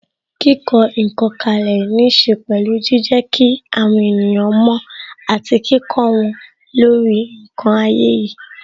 Kíkọ ǹkan kalẹ ní ṣe pẹ̀lú jijẹ kí àwọn ènìyàn mo àti kíkó wọn lórí ǹkan ayé yìí.